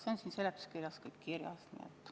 See on seletuskirjas kirjas.